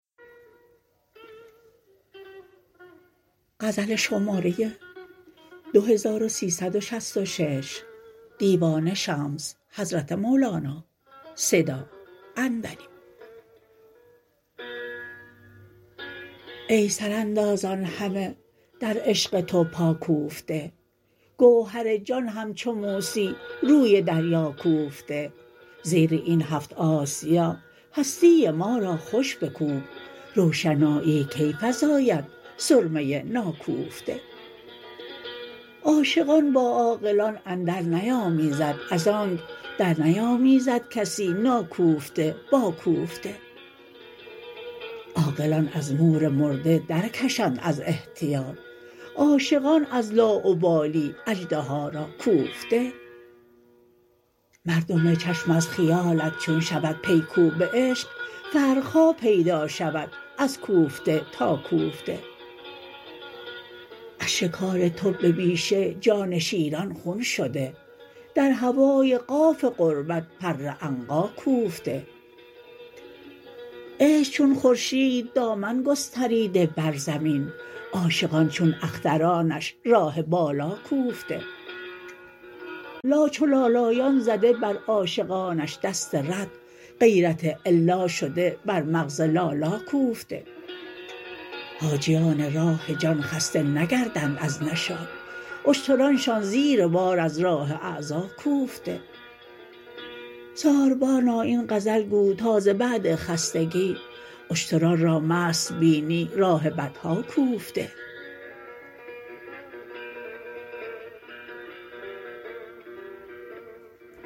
ای سراندازان همه در عشق تو پا کوفته گوهر جان همچو موسی روی دریا کوفته زیر این هفت آسیا هستی ما را خوش بکوب روشنایی کی فزاید سرمه ناکوفته عاشقان با عاقلان اندرنیامیزد از آنک درنیامیزد کسی ناکوفته با کوفته عاقلان از مور مرده درکشند از احتیاط عاشقان از لاابالی اژدها را کوفته مردم چشم از خیالت چون شود پی کوب عشق فرق ها پیدا شود از کوفته تا کوفته از شکار تو به بیشه جان شیران خون شده در هوای قاف قربت پر عنقا کوفته عشق چون خورشید دامن گستریده بر زمین عاشقان چون اخترانش راه بالا کوفته لا چو لالایان زده بر عاشقانش دست رد غیرت الا شده بر مغز لالا کوفته حاجیان راه جان خسته نگردند از نشاط اشترانشان زیر بار از راه اعضا کوفته ساربان این غزل گو تا ز بعد خستگی اشتران را مست بینی راه بطحا کوفته